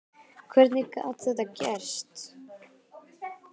Hvernig gat þetta gerst?